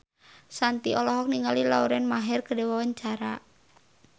Shanti olohok ningali Lauren Maher keur diwawancara